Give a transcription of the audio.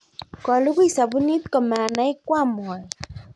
kolugui sabuni ko manai koam moet